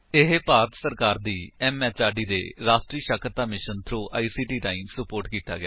ਇਹ ਭਾਰਤ ਸਰਕਾਰ ਦੀ ਐਮਐਚਆਰਡੀ ਦੇ ਰਾਸ਼ਟਰੀ ਸਾਖਰਤਾ ਮਿਸ਼ਨ ਥ੍ਰੋ ਆਈਸੀਟੀ ਰਾਹੀਂ ਸੁਪੋਰਟ ਕੀਤਾ ਗਿਆ ਹੈ